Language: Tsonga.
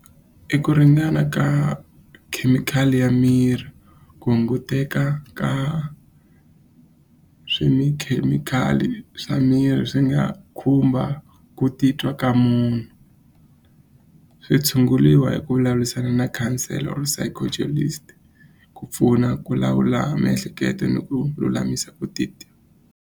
I ku ringana ka khemikhali ya miri ku hunguteka ka swi mi khemikhali swa miri swi nga khumba ku titwa ka munhu swi tshunguliwa hi ku vulavulisana na khansela wa vu ku pfuna ku lawula miehleketo ni ku lulamisa ku titwa.